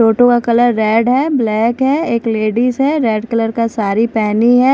Auto का colour red है black है एक लेडीज है रेड कलर का साड़ी पहनी है।